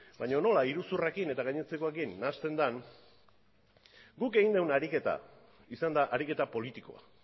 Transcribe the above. baina nola iruzurrarekin eta gainontzekoekin nahasten den guk egiten dugun ariketa izan da ariketa politikoa